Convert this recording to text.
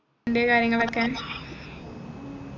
അൻറെ കാര്യങ്ങളൊക്കെ